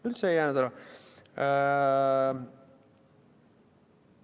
Üldse ei jäänud ära!